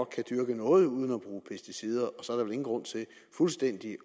dyrke noget uden at bruge pesticider og så er der vel ingen grund til fuldstændig